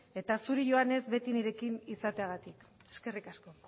eta zuri joannes beti nirekin izateagatik eskerrik asko